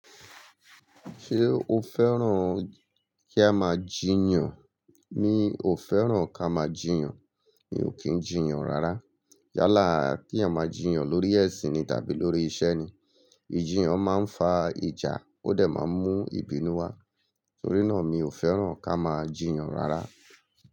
Ṣé o fẹ́ràn kí a máa jiyàn? Mi ò fẹ́ràn ká máa jiyàn, mi ò kí ń jiyàn rárá. Yálà kí eyan maa jiyàn lórí ẹ̀sìn ni tàbí lórí iṣẹ́ ni, ìjiyàn máa ń fa ìjà, ó dẹ̀ máa ń mú ìbínú wá. Torí náà, mi ò fẹ́ràn ká máa jiyàn rárá.